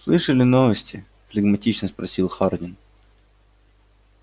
слышали новости флегматично спросил хардин